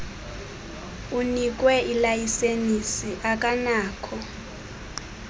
unikwe ilayisenisi akanakho